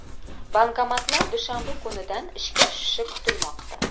Bankomatlar dushanba kunidan ishga tushishi kutilmoqda.